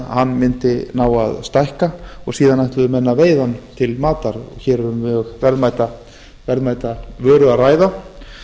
hann mundi ná að stækka og síðan ætluðu menn að veiða hann til matar hér er um mjög verðmæta vöru að ræða